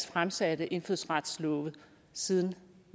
fremsatte indfødsretslovforslag siden